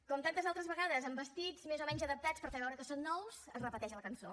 com tantes altres vegades amb vestits més o menys adaptats per fer veure que són nous es repeteix la cançó